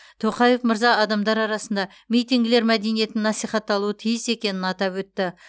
тоқаев мырза адамдар арасында митингілер мәдениетінің насихатталуы тиіс екенін атап өтті